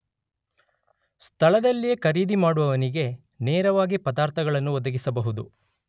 ಸ್ಥಳದಲ್ಲಿಯೆ ಖರೀದಿಮಾಡುವವನಿಗೇ ನೇರವಾಗಿ ಪದಾರ್ಥಗಳನ್ನು ಒದಗಿಸುವುದು.